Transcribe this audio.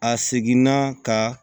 A seginna ka